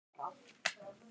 Betur gat hún ekki gert.